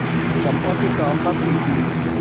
चंपा की कामना थी कि